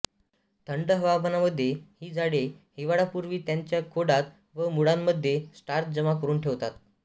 थंड हवामानात हि झाडे हिवाळ्यापूर्वी त्यांच्या खोडात व मुळांमध्ये स्टार्च जमा करून ठेवतात